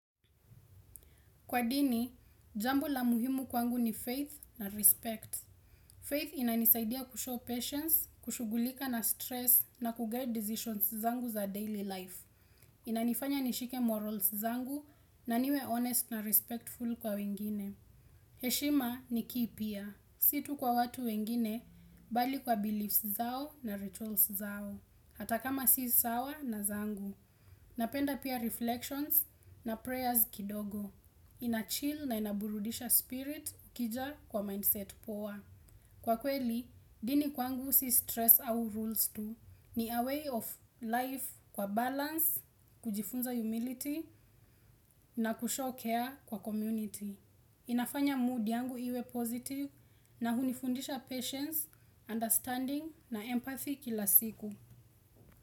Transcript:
Kwa dini, jambo la muhimu kwangu ni faith na respect. Faith inanisaidia kushow patience, kushughulika na stress na kuguide decisions zangu za daily life. Inanifanya nishike morals zangu na niwe honest na respectful kwa wengine. Heshima ni kipya, si tu kwa watu wengine, bali kwa beliefs zao na rituals zao. Hata kama si sawa na zangu, napenda pia reflections na prayers kidogo. Inachill na inaburudisha spirit ikija kwa mindset poa. Kwa kweli, dini kwangu si stress au rules tu. Ni a way of life kwa balance, kujifunza humility na kushow care kwa community. Inafanya mood yangu iwe positive na hunifundisha patience, understanding na empathy kila siku.